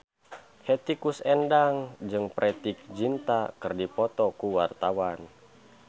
Hetty Koes Endang jeung Preity Zinta keur dipoto ku wartawan